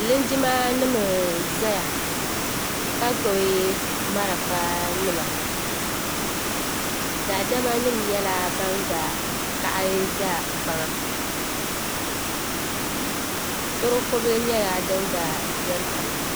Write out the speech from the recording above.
Linjimanima n-zaya ka gbubi malifanima daadamanima nyɛla ban gba kaɣi za kpaŋa tɔroko' bila nyɛla din gba beni pahi